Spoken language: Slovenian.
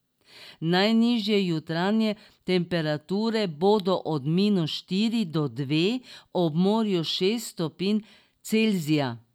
Najnižje jutranje temperature bodo od minus štiri do dve, ob morju šest stopinj Celzija.